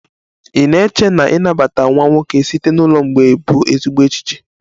Ị na-eche na ịnabata nwa nwoke site na ụlọ mgbei bụ ezigbo echiche?